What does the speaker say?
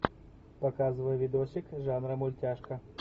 показывай видосик жанра мультяшка